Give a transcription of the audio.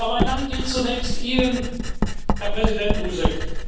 Mein Dank gilt zunächst Ihnen, Herr Präsident Buzek.